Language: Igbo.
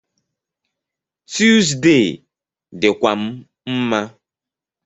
Tuesday dịkwa m mma